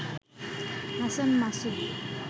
Hasan Masud